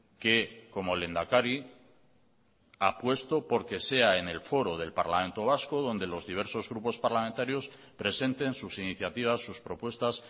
que como lehendakari apuesto porque sea en el foro del parlamento vasco donde los diversos grupos parlamentarios presenten sus iniciativas sus propuestas